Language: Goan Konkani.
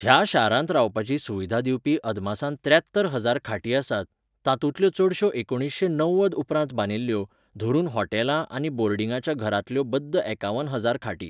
ह्या शारांत रावपाची सुविधा दिवपी अदमासान त्र्यात्तर हजार खाटी आसात, तातूंतल्यो चडश्यो एकुणीशें णव्वद उपरांत बांदिल्ल्यो, धरून हॉटेलां आनी बोर्डिंगाच्या घरांतल्यो बद्द एकावन हजार खाटी.